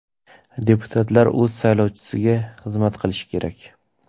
Deputatlar o‘z saylovchisiga xizmat qilishi kerak.